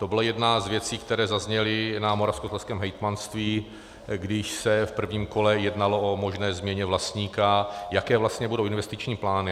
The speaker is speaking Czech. To byla jedna z věcí, která zazněly na moravskoslezském hejtmanství, když se v prvním kole jednalo o možné změně vlastníka, jaké vlastně budou investiční plány.